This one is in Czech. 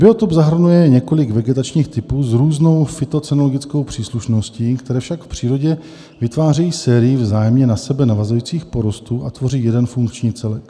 Biotop zahrnuje několik vegetačních typů s různou fytocenologickou příslušností, které však v přírodě vytvářejí sérii vzájemně na sebe navazujících porostů a tvoří jeden funkční celek.